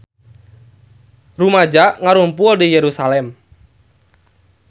Rumaja ngarumpul di Yerusalam